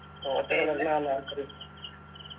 ഓച്ചറ വന്നാൽ ആർക്കറിയ